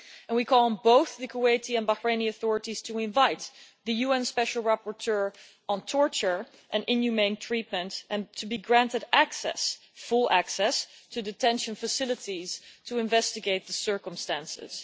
We call on both the Kuwaiti and Bahraini authorities to invite the UN Special Rapporteur on torture and inhumane treatment, and to grant him full access to detention facilities to investigate the circumstances.